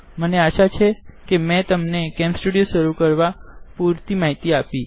મને આશા છે કે મેં તમને કેમ સ્ટુડીઓ શુરુ કરવા પુરતી માહિતી આપી